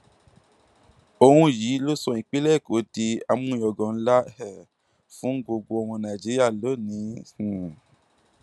òun yìí ló sọ ìpínlẹ èkó di àmúyangàn ńlá um fún gbogbo ọmọ nàìjíríà lónìín um